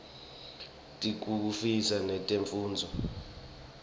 tiftutfukisa netemfundvo